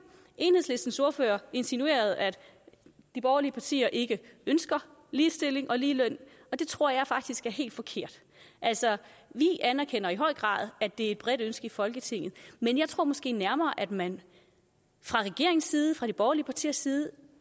enhedslistens ordfører insinuerede at de borgerlige partier ikke ønsker ligestilling og ligeløn og det tror jeg faktisk er helt forkert vi anerkender i høj grad at det er et bredt ønske i folketinget men jeg tror måske nærmere at man fra regeringens side fra de borgerlige partiers side